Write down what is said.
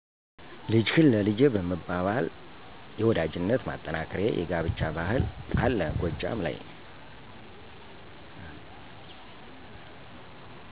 ልጅህን ለልጄ በመባባል የወዳጅነት ማጠንከሪያ የጋብቻ ባህል አለ ጎጃም ላይ።